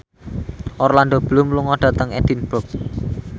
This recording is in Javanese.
Orlando Bloom lunga dhateng Edinburgh